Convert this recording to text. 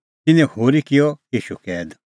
तिन्नैं होरी किअ ईशू कैद